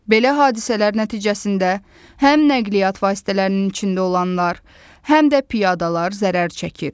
Belə hadisələr nəticəsində həm nəqliyyat vasitələrinin içində olanlar, həm də piyadalar zərər çəkir.